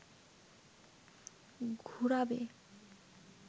ঘুরাবে